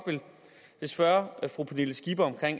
vil spørge fru pernille skipper